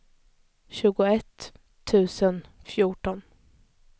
tjugoett tusen fjorton